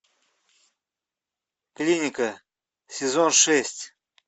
клиника сезон шесть